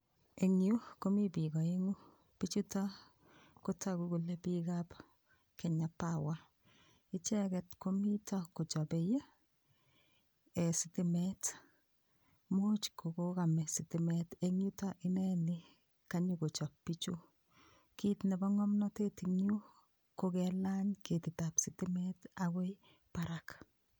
Eng' yu komi biik oeng'u bichuto kotoku kole biikab Kenya power icheget komito kochobei sitimet muuch kokokame sitimet eng' yuto ineni kanyikochop bichu kiit nebo ng'omnotet eng' yu ko kelany ketitab sitimet akoi barak